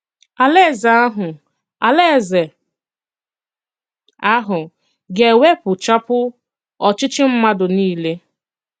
Àlàèzè àhụ Àlàèzè àhụ ga-ewèpụchàpụ òchìchì mmàdù niile.